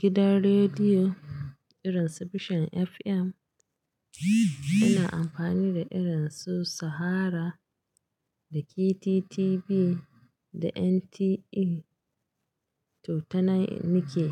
gidan rediyo irin Su vision FM, ina amfani da irin su Sahara da KTTB da NTA to ta Nike.